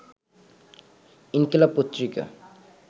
ইনকিলাব পত্রিকা